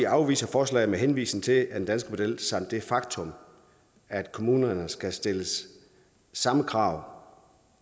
afviser forslaget med henvisning til den danske model samt det faktum at kommunerne skal stille samme krav